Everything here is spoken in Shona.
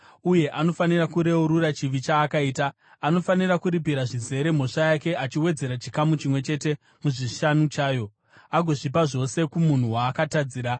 uye anofanira kureurura chivi chaakaita. Anofanira kuripira zvizere mhosva yake, achiwedzera chikamu chimwe chete muzvishanu chayo agozvipa zvose kumunhu waakatadzira.